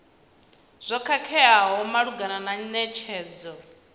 zwo khakheaho malugana na netshedzo